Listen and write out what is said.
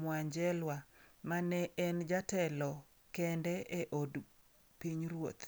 Mwanjelwa mane en jatelo kende e Od Pinyruoth.